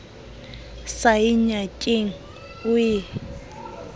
sa ye ngakeng o e